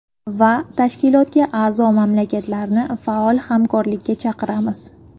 Va Tashkilotga a’zo mamlakatlarni faol hamkorlikka chaqiramiz.